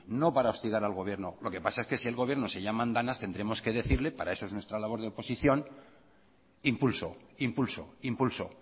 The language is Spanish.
no para hostigar al gobierno lo que pasa es que si el gobierno se llama a andanas tendremos que decirle para eso es nuestra labora de oposición impulso impulso impulso